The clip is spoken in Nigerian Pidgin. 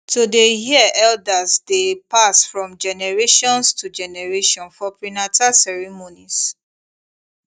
to dey hear eldersdey pass from generations to generation for prenata ceremonies